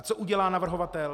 A co udělá navrhovatel?